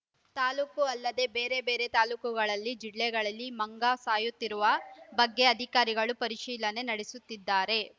ತಾಲೂಕು ಅಲ್ಲದೆ ಬೇರೆಬೇರೆ ತಾಲೂಕುಗಳಲ್ಲಿ ಜಿಲ್ಲೆಗಳಲ್ಲಿ ಮಂಗ ಸಾಯುತ್ತಿರುವ ಬಗ್ಗೆ ಅಧಿಕಾರಿಗಳು ಪರಿಶೀಲನೆ ನಡೆಸುತ್ತಿದ್ದಾರೆ